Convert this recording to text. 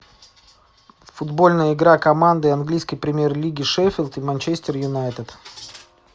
футбольная игра команды английской премьер лиги шеффилд и манчестер юнайтед